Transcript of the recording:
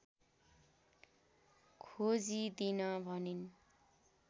खोजिदिन भनिन्